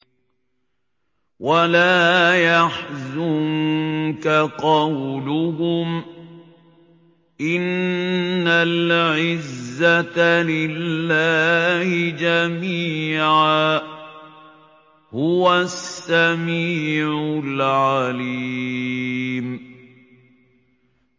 وَلَا يَحْزُنكَ قَوْلُهُمْ ۘ إِنَّ الْعِزَّةَ لِلَّهِ جَمِيعًا ۚ هُوَ السَّمِيعُ الْعَلِيمُ